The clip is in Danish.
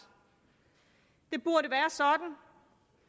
det burde være sådan